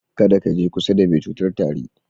Kada ka je kusa da mai cutar tari.